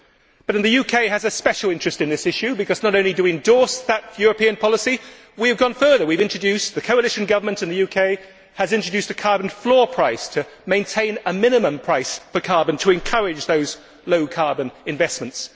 But then the UK has a special interest in this issue, because not only do we endorse that European policy, we have gone further the coalition government in the UK has introduced a carbon floor price to maintain a minimum price for carbon, so as to encourage those low carbon investments.